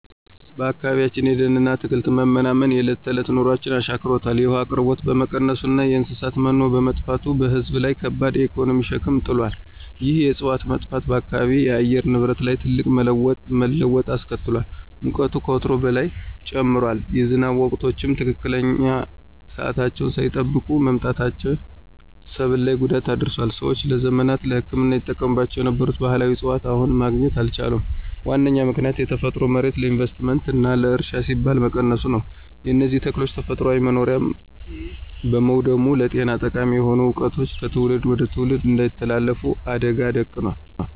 በአካባቢያችን የደንና አትክልት መመናመን የዕለት ተዕለት ኑሯችንን አሻክሮታል። የውሃ አቅርቦት በመቀነሱና የእንስሳት መኖ በመጥፋቱ በሕዝብ ላይ ከባድ የኢኮኖሚ ሸክም ጥሏል። ይህ የዕፅዋት መጥፋት በአካባቢው የአየር ንብረት ላይ ትልቅ መለዋወጥ አስከትሏል። ሙቀቱ ከወትሮው በላይ ጨምሯል፤ የዝናብ ወቅቶችም ትክክለኛ ሰዓታቸውን ሳይጠብቁ መምጣታቸው ሰብል ላይ ጉዳት አድርሷል። ሰዎች ለዘመናት ለሕክምና ይጠቀሙባቸው የነበሩ ባሕላዊ ዕፅዋትን አሁን ማግኘት አልቻሉም። ዋነኛው ምክንያት የተፈጥሮ መሬት ለኢንቨስትመንትና ለእርሻ ሲባል መነቀሉ ነው። የእነዚህ ተክሎች ተፈጥሯዊ መኖሪያ በመውደሙም ለጤና ጠቃሚ የሆኑ ዕውቀቶች ከትውልድ ወደ ትውልድ እንዳይተላለፉ አደጋ ደቅኗል።